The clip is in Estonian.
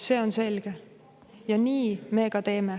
See on selge ja nii me ka teeme.